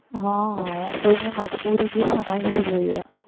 હમ કોઈની મજબૂરી ભી સમજાવી જોઈએ.